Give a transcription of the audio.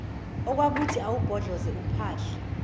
okwakuthi awubhodloze uphahla